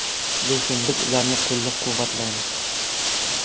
Lekin biz ularni qo‘llab-quvvatlaymiz”.